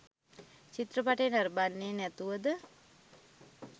චිත්‍රපටය නරඹන්නේ නැතුවද?